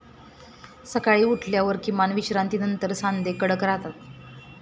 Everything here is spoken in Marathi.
सकाळी उठल्यावर किमान विश्रांतीनंतर सांधे कडक राहतात.